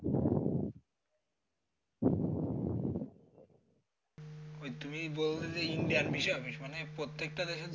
ওই তুমি বললে যে indian visa office মানে প্রত্যেকটা দেশের